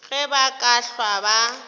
ge ba ka hlwa ba